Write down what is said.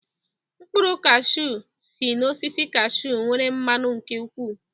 Mkpụrụ kashew si n'osisi kashew nwere mmanụ nke ụkwụ